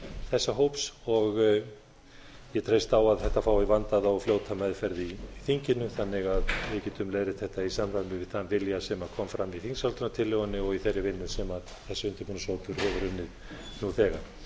þessa hóps og ég treysti á að þetta fái vandaða og fljóta meðferð í þinginu þannig að við getum leiðrétt þetta í samræmi við þann vilja sem kom fram í þingsályktunartillögunni og í þeirri vinnu sem þessi undirbúningshópur hefur unnið nú þegar ég